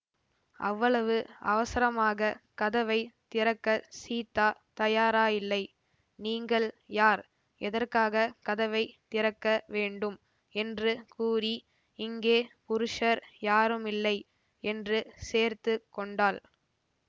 அவ்வளவு அவசரமாக கதவை திறக்கச் சீதா தயாராயில்லை நீங்கள் யார் எதற்காக கதவை திறக்க வேண்டும் என்று கூறி இங்கே புருஷர் யாருமில்லை என்று சேர்த்து கொண்டாள்